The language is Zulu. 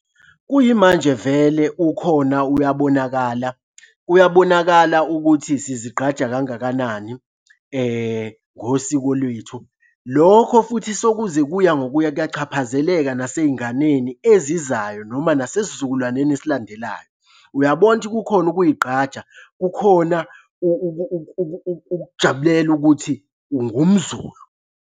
Kuyimanje vele ukhona uyabonakala, uyabonakala ukuthi sizigqaja kangakanani ngosiko lwethu. Lokho futhi sokuza kuya ngokuya kuyachaphazeleka nasey'nganeni ezizayo, noma nasesizukulwaneni esilandelayo. Uyabona ukuthi kukhona ukuy'ngqaja, kukhona ukujabulela ukuthi ungumZulu.